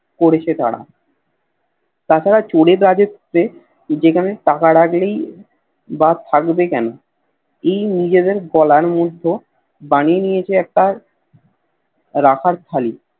করেছে তারা তাছাড়া চোর এ জগততে যেখানে টাকা রাখলেই বা থাকবে কেন এই নিজেদের গলার মতো বানিয়ে নিয়েছে একটা রাখার থালি